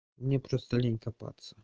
мне просто лень копаться